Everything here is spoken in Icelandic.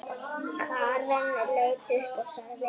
Karen leit upp og sagði